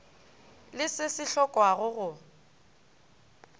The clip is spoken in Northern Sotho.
le se se hlokwago go